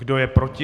Kdo je proti?